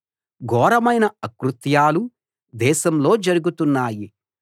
ఘోరమైన అకృత్యాలు దేశంలో జరుగుతున్నాయి